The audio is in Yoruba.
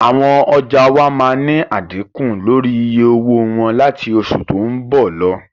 Àwọn ọjà wá máa ni a dínkù lórí iye owó wọn láti oṣù tó ń bọ̀ lọ